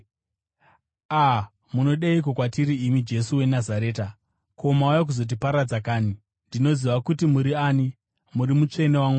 “A! Munodeiko kwatiri imi Jesu weNazareta? Ko, mauya kuzotiparadza kanhi? Ndinoziva kuti muri ani, muri Mutsvene waMwari!”